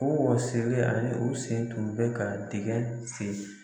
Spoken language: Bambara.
O wɔsilen ani u sen tun bɛ ka dingɛ senni.